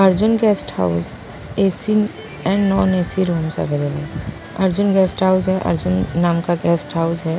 Arjun guest house AC and non AC rooms available Arjun guest house है अर्जुन नाम का guest house है।